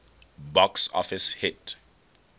box office hit